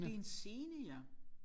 Det er en scene ja